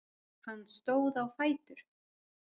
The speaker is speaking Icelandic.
Hann stóð á fætur.